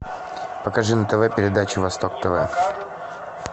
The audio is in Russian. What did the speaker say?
покажи на тв передачу восток тв